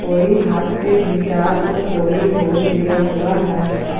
कोई हाथ से गिटार तो कोई ढोल लिया हुआ है।